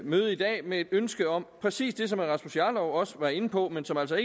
mødet i dag med et ønske om præcis det som herre rasmus jarlov også var inde på men som altså